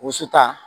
Wusuta